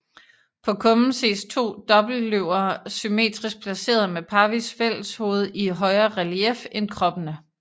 På kummen ses to dobbeltløver symmetrisk placeret med parvis fælleshoved i højere relief end kroppene